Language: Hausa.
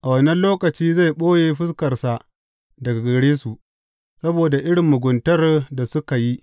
A wannan lokaci zai ɓoye fuskarsa daga gare su saboda irin muguntar da suka yi.